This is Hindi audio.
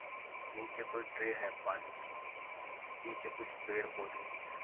नीचे कोई ट्रे है पानी की। पीछे कुछ पेड़-पौधे भी हैं।